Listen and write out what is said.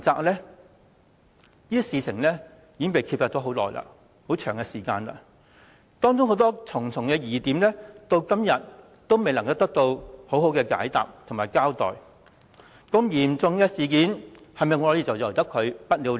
這事已被揭發一段長時間，當中重重疑點至今仍未得到滿意解答和交代，如此嚴重的事件是否便任由它不了了之？